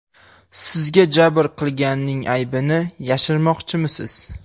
Sizga jabr qilganning aybini yashirmoqchimisiz?